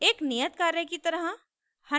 एक नियत कार्य की तरह